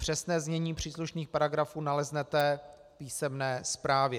Přesné znění příslušných paragrafů naleznete v písemné zprávě.